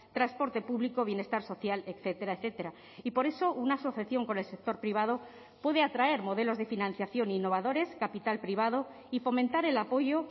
transporte público bienestar social etcétera etcétera y por eso una asociación con el sector privado puede atraer modelos de financiación innovadores capital privado y fomentar el apoyo